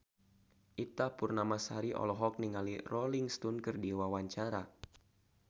Ita Purnamasari olohok ningali Rolling Stone keur diwawancara